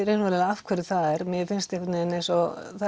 af hverju það er mér finnst einhvern veginn eins og